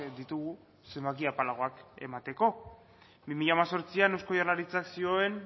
ditugu zenbaki apalagoak emateko bi mila hemezortzian eusko jaurlaritzak zioen